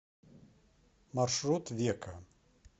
маршрут века